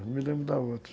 Não me lembro da outra.